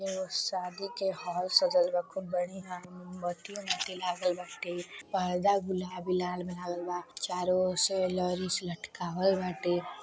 एगो शादी के हॉल सजल बा खूब बढियाँ मोमबत्ती आगरबाती लागल बाटे पर्दा गुलाबी लाल लाल बा चारो और से लॉरी से लटकावल बाटे --